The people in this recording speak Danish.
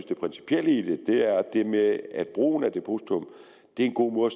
det principielle i det er det med at brugen af depositum er en god måde